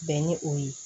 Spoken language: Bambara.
Bɛn ni o ye